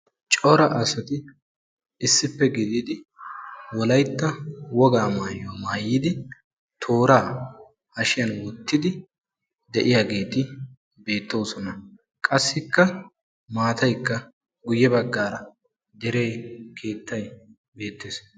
Cora asati issippe gididi wolaytta wogaa maayuwa maayidi tooraa hashiyan wottidi de"iyageeti beettoosona. Qassikka maatayikka guyye baggaara deree, keettayi beettes.